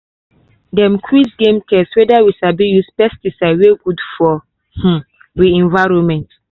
dem quiz game test whether we sabi use pesticide wey good for um wi environment.